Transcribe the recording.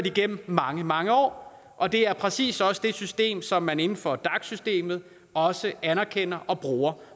igennem mange mange år og det er præcis også det system som man inden for dac systemet også anerkender og bruger